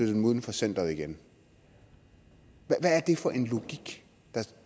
dem uden for centeret igen hvad er det for en logik der